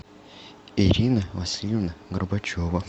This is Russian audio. ирина васильевна горбачева